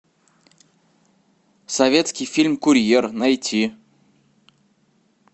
советский фильм курьер найти